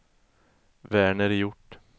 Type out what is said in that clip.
Verner Hjort